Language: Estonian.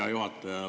Hea juhataja!